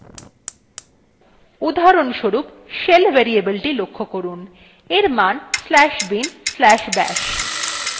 উদাহরণস্বরূপ